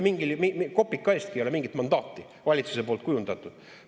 Ei ole kopika eestki mingit mandaati valitsus kujundanud.